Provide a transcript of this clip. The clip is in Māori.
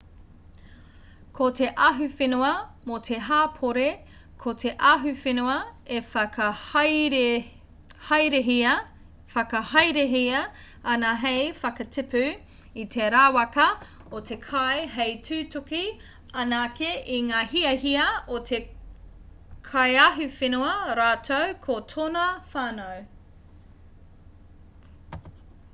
ko te ahuwhenua mō te hapori ko te ahuwhenua e whakahaerehia ana hei whakatipu i te rawaka o te kai hei tutuki anake i ngā hiahia o te kaiahuwhenua rātou ko tōna whānau